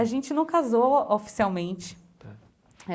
A gente não casou oficialmente.